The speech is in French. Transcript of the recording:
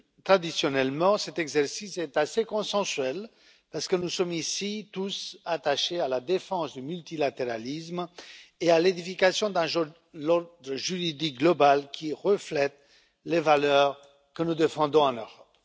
Traditionnellement, cet exercice est assez consensuel, parce nous sommes ici tous attachés à la défense du multilatéralisme et à l'édification d'un ordre juridique mondial qui reflète les valeurs que nous défendons en Europe.